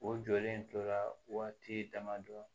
O jɔlen tora waati damadɔ